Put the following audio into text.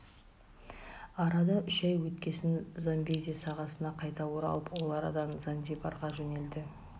арада үш ай өткесін замбези сағасына қайта оралып ол арадан занзибарға жөнелді